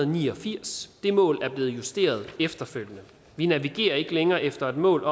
ni og firs det mål er blevet justeret efterfølgende vi navigerer ikke længere efter det mål